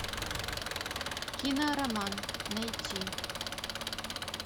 кинороман найти